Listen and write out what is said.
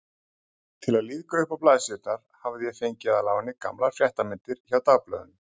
Til að lífga uppá blaðsíðurnar hafði ég fengið að láni gamlar fréttamyndir hjá dagblöðunum.